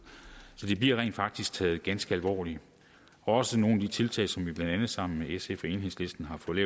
så det bliver rent faktisk taget ganske alvorligt og også nogle af de tiltag som vi blandt andet sammen med sf og enhedslisten har fået